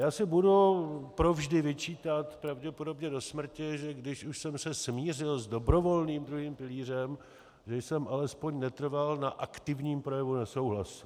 Já si budu provždy vyčítat pravděpodobně do smrti, že když už jsem se smířil s dobrovolným druhým pilířem, že jsem alespoň netrval na aktivním projevu nesouhlasu.